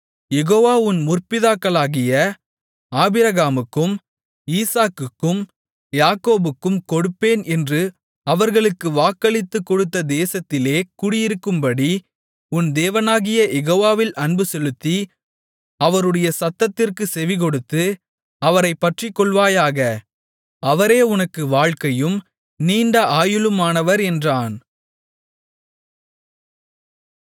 யெகோவா உன் முற்பிதாக்களாகிய ஆபிரகாமுக்கும் ஈசாக்குக்கும் யாக்கோபுக்கும் கொடுப்பேன் என்று அவர்களுக்கு வாக்களித்துக் கொடுத்த தேசத்திலே குடியிருக்கும்படி உன் தேவனாகிய யெகோவாவில் அன்புசெலுத்தி அவருடைய சத்தத்திற்குச் செவிகொடுத்து அவரைப் பற்றிக்கொள்வாயாக அவரே உனக்கு வாழ்க்கையும் நீண்ட ஆயுளுமானவர் என்றான்